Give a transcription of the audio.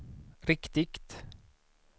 riktigt